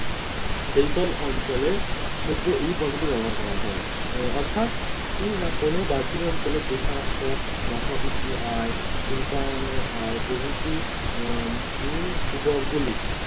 সেইসব অঞ্চলের ক্ষেত্রে এই পদ্ধতি ব্যবহার করা হয় অর্থাৎ কি না কোন বাহ্যিক অঞ্চলের বেকারত্ব মাথাপিছু আয় শিল্পায়নের আয় প্রভৃতি উম মূলধবক গুলি